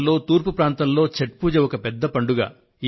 భారతదేశంలో తూర్పు ప్రాంతంలో ఛఠ్ పూజ ఒక పెద్ద పండుగ